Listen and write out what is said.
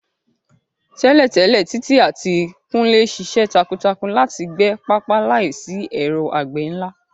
Tẹ́lẹ̀tẹ́lẹ̀, Titi àti Kunle ṣiṣẹ́ takuntakun láti gbẹ pápá láìsí ẹ̀rọ àgbẹ̀ ńlá.